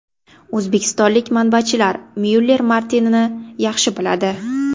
O‘zbekistonlik matbaachilar Myuller Martini’ni yaxshi biladi.